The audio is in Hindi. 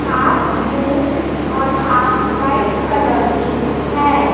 हाफ ब्लू और हॉफ व्हाइट कलर की है।